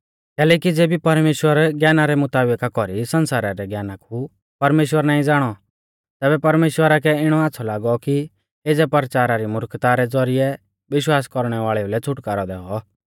कैलैकि ज़ेबी परमेश्‍वरा ज्ञाना रै मुताबिका कौरी सण्सारै ज्ञाना कु परमेश्‍वर नाईं ज़ाणौ तैबै परमेश्‍वरा कै इणौ आच़्छ़ौ लागौ कि एज़ै परचारा री मुर्खता रै ज़ौरिऐ विश्वास कौरणै वाल़ेऊ लै छ़ुटकारौ दैऔ